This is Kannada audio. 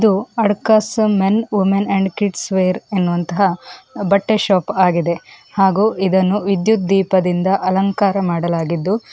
ಇದು ಅಡ್ಕಸ್ ಮೆನ್ ಉಮೆನ್ಅಂಡ್ ಕಿಡ್ಸ್ ವೆರ್ ಎನ್ನುವಂತಹ ಬಟ್ಟೆ ಶಾಪ್ ಆಗಿದೆ ಹಾಗೂ ಇದನ್ನು ವಿದ್ಯುತ್ ದೀಪದಿಂದ ಅಲಂಕಾರ ಮಾಡಲಾಗಿದ್ದು.